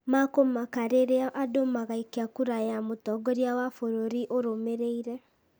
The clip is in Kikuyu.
makũmaka rĩrĩa andũ magaikia kura ya mũtongoria wa bũrũri ũrũmĩreire.